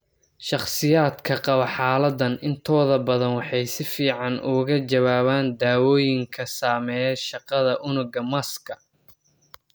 Shakhsiyaadka qaba xaaladaan intooda badan waxay si fiican uga jawaabaan daawooyinka saameeya shaqada unugga masska.